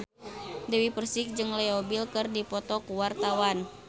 Dewi Persik jeung Leo Bill keur dipoto ku wartawan